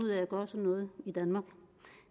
noget i danmark